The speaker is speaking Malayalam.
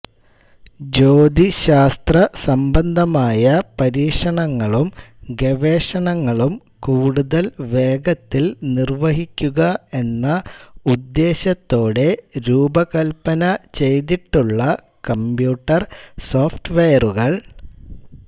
ജ്യോതിശ്ശാസ്ത്ര സംബന്ധമായ പരീക്ഷണങ്ങളും ഗവേഷണങ്ങളും കൂടുതൽ വേഗത്തിൽ നിർവഹിക്കുക എന്ന ഉദ്ദേശ്യത്തോടെ രൂപകല്പന ചെയ്തിട്ടുള്ള കംപ്യൂട്ടർ സോഫ്റ്റ് വെയറുകൾ